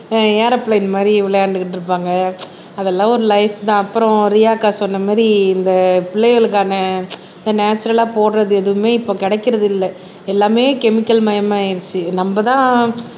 ஆஹ் aeroplane மாதிரி விளையாண்டுக்கிட்டு இருப்பாங்க அதெல்லாம் ஒரு லைப்தான் அப்புறம் ரியாக்கா சொன்ன மாதிரி இந்த பிள்ளைகளுக்கான இந்த நேச்சரல்லா போடுறது எதுவுமே இப்ப கிடக்கிறது இல்லை எல்லாமே கெமிக்கல் மயமா ஆயிருச்சு நம்மதான்